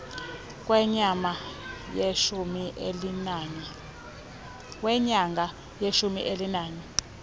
kwenyanga yeshumi elinanye